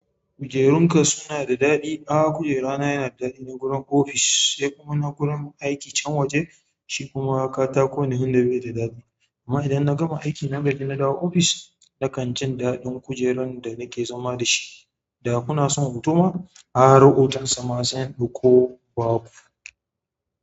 Kujerunka suna da daɗi? A'a kujera na yana da daɗi na gurin ofis sai kuma na gurin aiki can waje shi kuma katako ne tun da bai da daɗi amma idan na gama aiki nan gaji na dawo ofis nakan jin daɗin kujerun da nake zama da shi. Da kuna son hoto ma har hotan sa ma sai in ɗauko in baku.